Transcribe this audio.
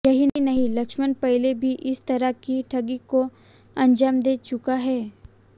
यही नहीं लक्ष्मण पहले भी इस तरह की ठगी को अंजाम दे चुका है